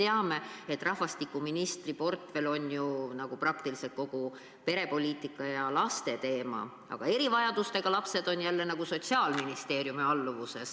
Me kõik teame, et rahvastikuministri portfelli kuulub ju praktiliselt kogu perepoliitika ja laste teema, aga erivajadustega lapsed on Sotsiaalministeeriumi alluvuses.